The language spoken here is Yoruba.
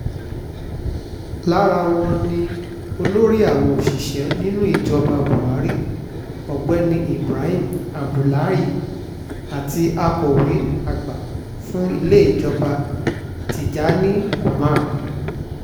lára wọn ni olórí àwọn òṣìṣẹ́ nínú ìjọba buhari ọ̀jọ̀gbọ́n ibrahim abdullahi àti akọ̀wé àgbà fún ilé ìjọba tijani umar